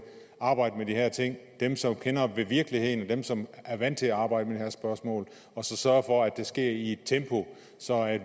arbejde med de her ting dem som kender virkeligheden dem som er vant til at arbejde med de her spørgsmål og så sørge for at det sker i et tempo så